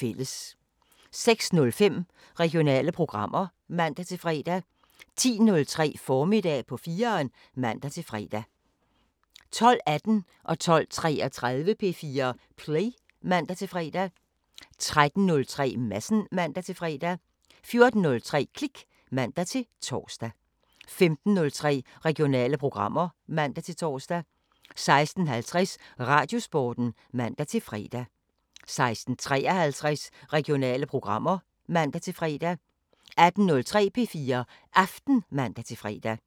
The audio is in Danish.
06:05: Regionale programmer (man-fre) 10:03: Formiddag på 4'eren (man-fre) 12:18: P4 Play (man-fre) 12:33: P4 Play (man-fre) 13:03: Madsen (man-fre) 14:03: Klik (man-tor) 15:03: Regionale programmer (man-tor) 16:50: Radiosporten (man-fre) 16:53: Regionale programmer (man-fre) 18:03: P4 Aften (man-fre)